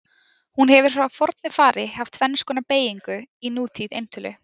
Hún hefur frá fornu fari haft tvenns konar beygingu í nútíð eintölu.